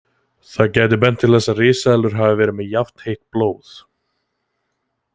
Það gæti bent til þess að risaeðlur hafi verið með jafnheitt blóð.